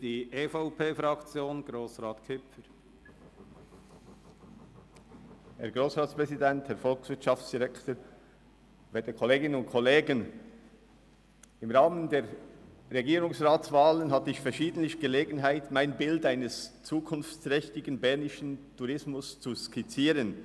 Im Rahmen der Regierungsratswahlen hatte ich verschiedentlich die Gelegenheit, mein Bild eines zukunftsträchtigen bernischen Tourismus zu skizzieren.